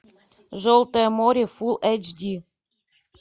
желтое море фулл эйч ди